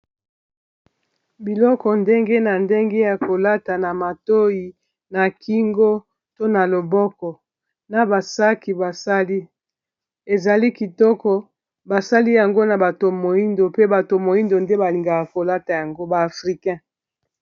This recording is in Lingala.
Biloko ndenge na ndenge ya kolata na matoi na kingo to na loboko na ba saki basali ezali kitoko basali yango na bato moyindo pe bato moyindo nde balingaka kolata yango ba africain.